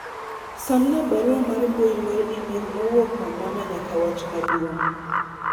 somna barua mar mbui mar email mowuok kuom mama nyaka wach maduong'